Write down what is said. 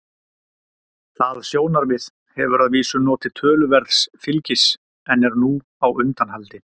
það sjónarmið hefur að vísu notið töluverðs fylgis en er nú á undanhaldi